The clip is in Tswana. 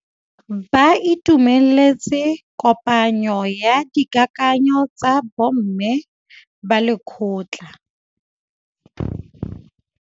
Ba itumeletse kôpanyo ya dikakanyô tsa bo mme ba lekgotla.